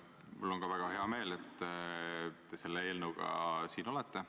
Mul on ka väga hea meel, et te selle eelnõuga siin meie ees olete.